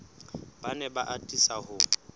ba ne ba atisa ho